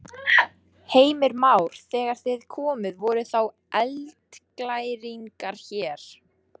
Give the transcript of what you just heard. Heimir Már: Þegar þið komuð voru þá eldglæringar hér?